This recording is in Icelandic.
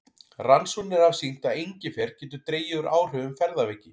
Rannsóknir hafa sýnt að engifer getur dregið úr áhrifum ferðaveiki.